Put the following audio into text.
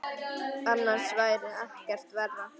Annars væri ekkert verra.